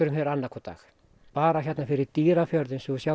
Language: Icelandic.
fer annað hvern dag bara hérna fyrir Dýrafjörð